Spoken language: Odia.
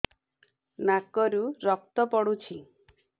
ନାକରୁ ରକ୍ତ ପଡୁଛି